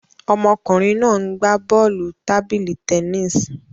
Ọmọkùnrin náà ń gbá bọ́ọ̀lù tábìlì tennis